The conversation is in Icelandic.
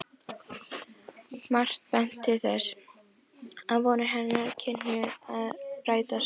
Margt benti til þess, að vonir hennar kynnu að rætast.